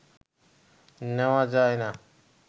নেওয়া যায় না